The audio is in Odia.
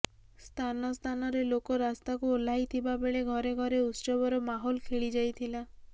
ସ୍ଥାନସ୍ଥାନରେ ଲୋକ ରାସ୍ତାକୁ ଓହ୍ଲାଇଥିବା ବେଳେ ଘରେଘରେ ଉତ୍ସବର ମାହୋଲ ଖେଳିଯାଇଥିଲା